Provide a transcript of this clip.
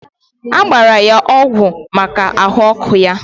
agbara ya ọgwụ maka ahụ ọkụ ya.